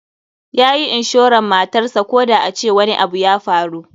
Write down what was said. Yayi inshoran motarsa koda a ce wani abu ya faru.